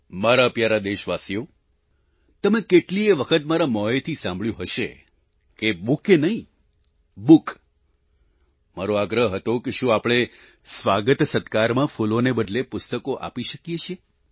મારા પ્યારા દેશવાસીઓ તમે કેટલીયે વખત મારા મોંએથી સાંભળ્યું હશે કે બુકે નહીં બુક મારો આગ્રહ હતો કે શું આપણે સ્વાગતસત્કારમાં ફૂલોને બદલે પુસ્તકો આપી શકીએ છીએ